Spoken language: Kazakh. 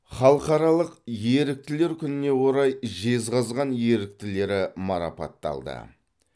халықаралық еріктілер күніне орай жезқазған еріктілері марапатталды